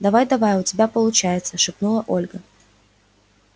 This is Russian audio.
давай-давай у тебя получается шепнула ольга